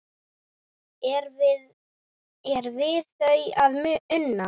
Er við það að una?